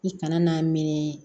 I kana n'a minɛ